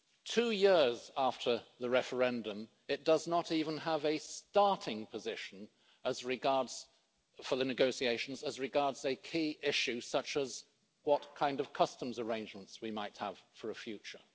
Two years after the referendum, it does not even have a starting position for the negotiations as regards a key issue such as what kind of customs arrangements we might have for a future.